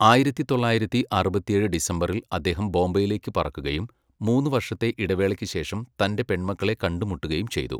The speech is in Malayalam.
ആയിരത്തി തൊള്ളായിരത്തി അറുപത്തിയേഴ് ഡിസംബറിൽ അദ്ദേഹം ബോംബെയിലേക്ക് പറക്കുകയും, മൂന്നു വർഷത്തെ ഇടവേളയ്ക്ക് ശേഷം, തൻ്റെ പെൺമക്കളെ കണ്ടുമുട്ടുകയും ചെയ്തു.